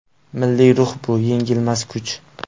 Milliy ruh bu yengilmas kuch.